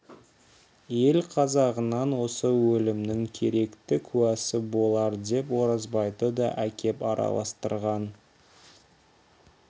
ел қазағынан осы өлімнің керекті куәсы болар деп оразбайды да әкеп араластырған